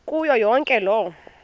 kuyo yonke loo